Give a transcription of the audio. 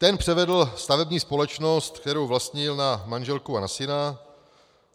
Ten převedl stavební společnost, kterou vlastnil, na manželku a na syna.